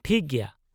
ᱴᱷᱤᱠ ᱜᱮᱭᱟ ᱾